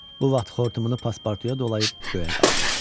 Bu vaxt xortumunu pasportuya dolayıb göyə qaldırdı.